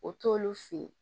O t'olu fe ye